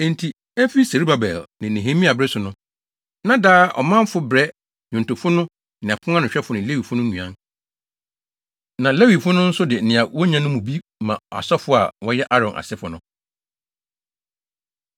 Enti efi Serubabel ne Nehemia bere so no, na daa ɔmanfo brɛ nnwontofo no ne aponanohwɛfo ne Lewifo no nnuan. Na Lewifo no nso de nea wonya no mu bi ma asɔfo a wɔyɛ Aaron asefo no.